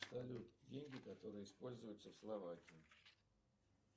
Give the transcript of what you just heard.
салют деньги которые используются в словакии